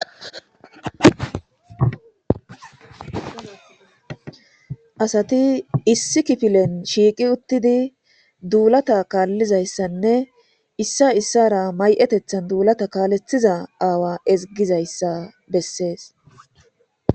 Asati issi kifilen shiiqi utid dulata kaalizaysanne Issa issara mayi'etethani dulata kalethiza aawa ezigizaysa Beses.